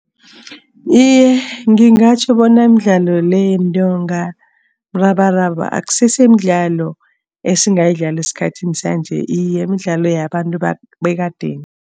Iye, ngingatjho bona imidlalo le yentonga, mrabaraba akusese midlalo esingayidlala esikhathini sanje. Iye, midlalo yabantu bekadeni.